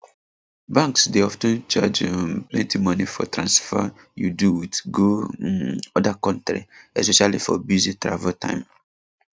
banks dey of ten charge um plenty money for transfer you do wit go um other country especially for busy travel time